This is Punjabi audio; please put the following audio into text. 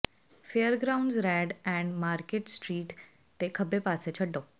fairgrounds road and market street ਤੇ ਖੱਬੇ ਪਾਸੇ ਛੱਡੋ